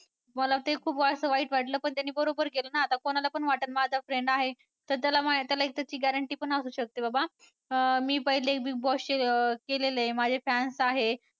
मला ते खूप असं वाईट वाटलं पण त्याने बरोबर केलं ना आता कोणाला पण वाटल माझा friend आहे. तर त्याला त्याला एक त्याची guarantee पण असू शकते बाबा अं मी पहले Big Boss चे केलेले माझे fans आहे.